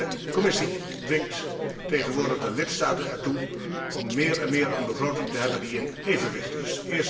De Commissie dwingt tegenwoordig de lidstaten ertoe om meer en meer een begroting te hebben die in evenwicht is.